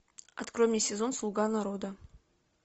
открой мне сезон слуга народа